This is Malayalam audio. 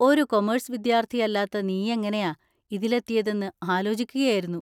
ഒരു കൊമേഴ്‌സ് വിദ്യാർത്ഥിയല്ലാത്ത നീയെങ്ങനെയാ ഇതിലെത്തിയെതെന്ന് ആലോചിക്കുകയായിരുന്നു.